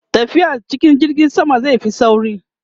tafiya cikin jirgin sama zai Fi sauri